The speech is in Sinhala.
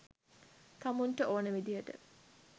තමුන්ට ඕනෙ විදියට